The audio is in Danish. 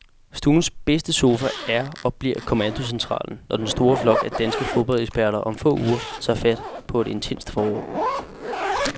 Stuens bedste sofa er og bliver kommandocentralen, når den store flok af danske fodboldeksperter om få uger tager fat på et intenst forår.